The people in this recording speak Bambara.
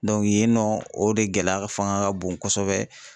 yen nɔ o de gɛlɛya fanga ka bon kosɛbɛ.